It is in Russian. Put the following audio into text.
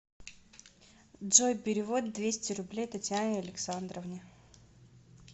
джой перевод двести рублей татьяне александровне